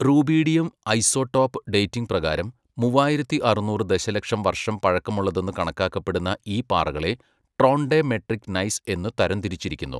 Rubidium isotope dating പ്രകാരം മുവ്വായിരത്തി അറുനൂറ് ദശലക്ഷം വർഷം പഴക്കമുള്ളതെന്ന് കണക്കാക്കപ്പെടുന്ന ഈ പാറകളെ ട്രോൺഡെമെട്രിക് നൈസ് എന്ന് തരംതിരിച്ചിരിക്കുന്നു.